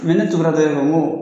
Mɛ ne tugura dɔ in ko n ko